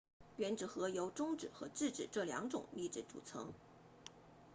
原子核由中子和质子这两种粒子组成